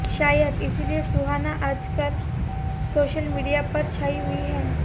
शायद इसीलिए सुहाना आजकल सोशल मीडिया पर छाई हुई हैं